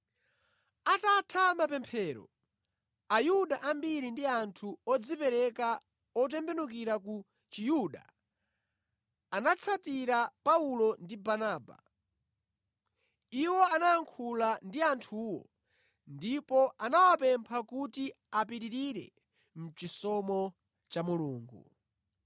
Atatha mapemphero, Ayuda ambiri ndi anthu odzipereka otembenukira ku Chiyuda anatsatira Paulo ndi Barnaba, iwo anayankhula ndi anthuwo ndipo anawapempha kuti apitirire mʼchisomo cha Mulungu.